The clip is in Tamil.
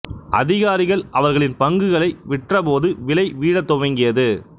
அதிகாரிகள் அவர்களின் பங்குகளை விற்றப் போது விலை வீழத் துவங்கியது